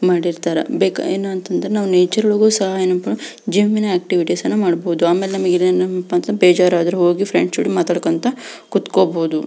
ಮಾಡಿರ್ತಾರೆ ಬೇಕ ಏನ್ ಅಂತ ಅಂದ್ರು ನೇಚರ್ ಒಳಗು ಸಹ ಏನಪ್ಪಾ ಜಿಮ್ಮಿನ ಆಕ್ಟಿವಿಟಿಎಸ್ನ ಮಾಡಬಹುದು ಆಮ್ಯಾಲ ಏನಪ ಅಂದ್ರ ಬೇಜಾರದ್ರ ಹೋಗಿ ಪ್ರೆಂಡ್ಸ್ ಜೋಡಿ ಮಾಡಕಿಂತ ಕುತ್ಕೋಬಹುದು.